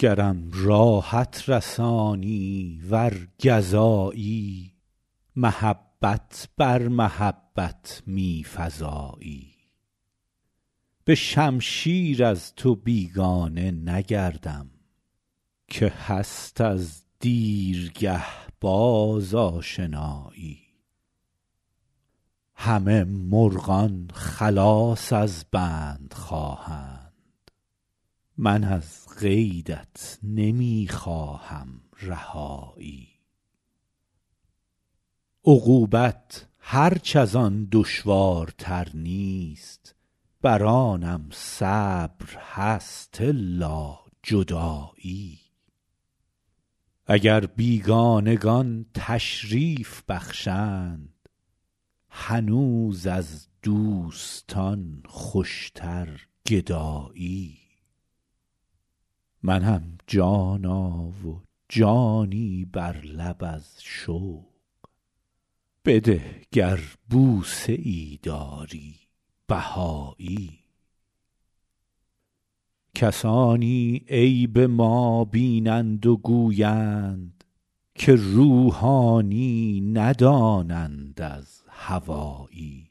گرم راحت رسانی ور گزایی محبت بر محبت می فزایی به شمشیر از تو بیگانه نگردم که هست از دیرگه باز آشنایی همه مرغان خلاص از بند خواهند من از قیدت نمی خواهم رهایی عقوبت هرچ از آن دشوارتر نیست بر آنم صبر هست الا جدایی اگر بیگانگان تشریف بخشند هنوز از دوستان خوشتر گدایی منم جانا و جانی بر لب از شوق بده گر بوسه ای داری بهایی کسانی عیب ما بینند و گویند که روحانی ندانند از هوایی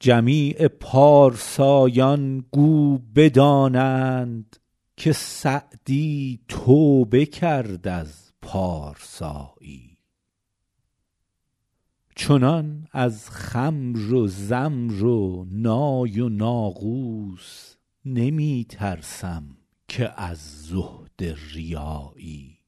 جمیع پارسایان گو بدانند که سعدی توبه کرد از پارسایی چنان از خمر و زمر و نای و ناقوس نمی ترسم که از زهد ریایی